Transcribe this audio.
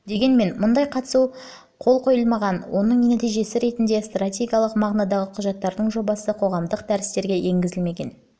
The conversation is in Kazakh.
дегенмен мұндай қатысу процедурасына қол қойылмаған осының нәтижесі ретінде стратегиялық мағынадағы құжаттардың жобасы қоғамдық дәрістерге енгізілмеген